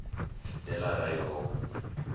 delareyville